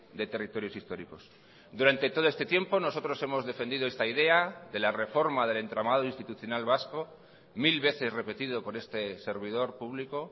de territorios históricos durante todo este tiempo nosotros hemos defendido esta idea de la reforma del entramado institucional vasco mil veces repetido por este servidor público